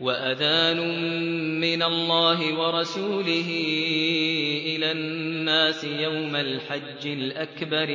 وَأَذَانٌ مِّنَ اللَّهِ وَرَسُولِهِ إِلَى النَّاسِ يَوْمَ الْحَجِّ الْأَكْبَرِ